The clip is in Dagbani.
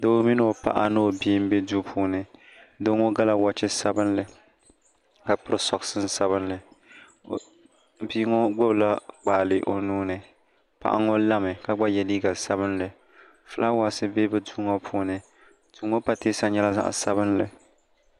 doo mini o paɣa ni bia m-be duu puuni doo ŋɔ gala wɔɔchi sabinli ka piri sɔɣishin' sabinli bia ŋɔ gbubila kpaale o nuu ni paɣa ŋɔ lami ka gba ye liiga sabinli fulaawaasi be bɛ duu ŋɔ puuni duu ŋɔ pateesa nyɛla zaɣ' sabinliText